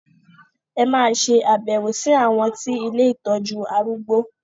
En ma ṣe àbẹ̀wò sí àwọn ti ilé ìtọjú arúgbó.